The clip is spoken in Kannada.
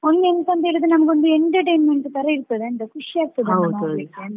ನಂಗೆ ಎಂತಾ ಅಂತ ಹೇಳಿದ್ರೆ ನಮಗೆ ಒಂದು entertainment ತರ ಇರ್ತದೆ ಅಂತ